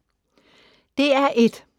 DR1